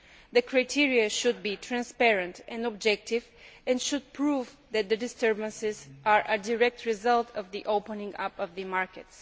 The criteria should be transparent and objective and should prove that the disturbances are a direct result of the opening up of the market.